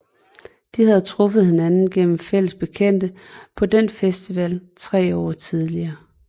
De havde truffet hinanden gennem fælles bekendte på den samme festival tre år tidligere